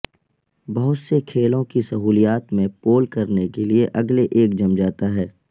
بہت سے کھیلوں کی سہولیات میں پول کرنے کے لئے اگلے ایک جم جاتا ہے